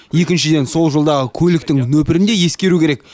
екіншіден сол жолдағы көліктің нөпірін де ескеру керек